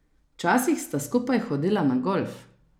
Včasih sta skupaj hodila na golf.